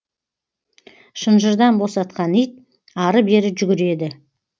шынжырдан босатқан ит ары бері жүгіреді